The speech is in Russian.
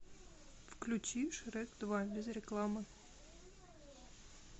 включи шрек два без рекламы